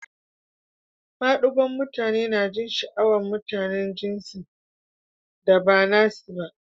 Madigon'mutane na jin sha'awan mutanen jinsin da ba nasi ba.